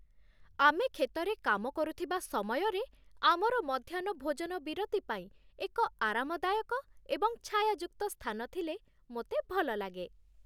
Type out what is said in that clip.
ଆମେ କ୍ଷେତରେ କାମ କରୁଥିବା ସମୟରେ ଆମର ମଧ୍ୟାହ୍ନ ଭୋଜନ ବିରତି ପାଇଁ ଏକ ଆରାମଦାୟକ ଏବଂ ଛାୟାଯୁକ୍ତ ସ୍ଥାନ ଥିଲେ ମୋତେ ଭଲଲାଗେ